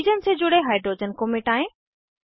oxygen से जुड़े hydrogen को मिटायें